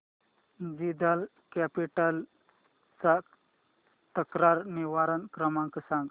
Jindal capital चा तक्रार निवारण क्रमांक सांग